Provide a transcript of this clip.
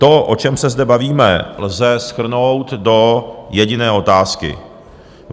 To, o čem se zde bavíme, lze shrnout do jediné otázky.